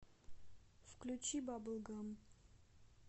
включи бабл гам